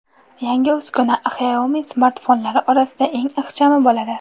Yangi uskuna Xiaomi smartfonlari orasida eng ixchami bo‘ladi.